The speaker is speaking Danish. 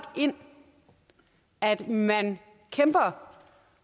ind at man kæmper